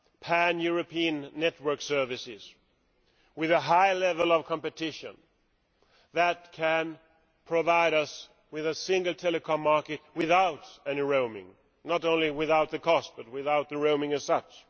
pan European network services with a high level of competition that can provide us with a single telecoms market without any roaming not only without the cost but without the roaming as such.